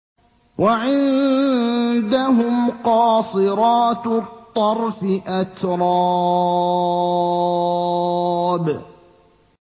۞ وَعِندَهُمْ قَاصِرَاتُ الطَّرْفِ أَتْرَابٌ